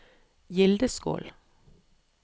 Gildeskål